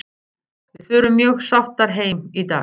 Við förum mjög sáttar heim í dag.